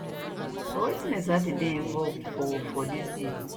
but wetin exactly dey involved for for dis bill